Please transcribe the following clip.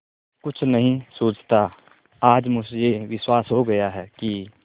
कुछ नहीं सूझता आज मुझे विश्वास हो गया कि